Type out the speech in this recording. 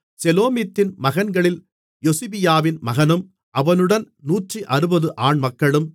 செலோமித்தின் மகன்களில் யொசிபியாவின் மகனும் அவனுடன் 160 ஆண்மக்களும்